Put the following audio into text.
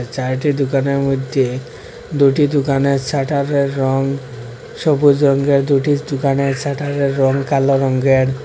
চাইরটি দুকানের মইধ্যে দুটি দুকানের সাটারে র রং সবুজ রংগের দুইটি দুকানের শাটারে র রং কালো রংগের।